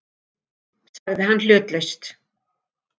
sagði hann hlutlaust.